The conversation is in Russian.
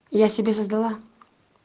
я себе создала